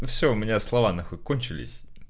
всё у меня слова нахуй кончились